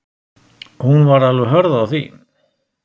Hún var alveg hörð á því.